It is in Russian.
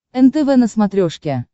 нтв на смотрешке